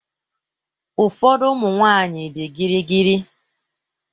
Ụfọdụ ụmụ nwanyị dị gịrịgịrị.